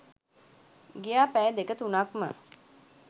ගියා පැය දෙක තුනක්ම